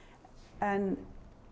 en